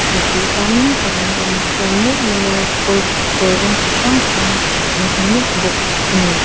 mipui tam tak an awm khawm mup mup a kawr kawr rawng chi hrang hrang an ha nup bawk ani.